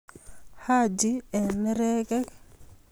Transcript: Haji eng nerekek